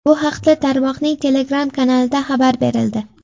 Bu haqda tarmoqning Telegram kanalida xabar berildi .